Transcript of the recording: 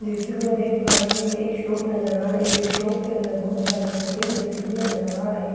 जैसे कि मैं देख पा रही हूं एक शॉप नजर आ रही है शॉप के अंदर बहुत सारे कोके भी रखे हुए नजर आ रहे हैं।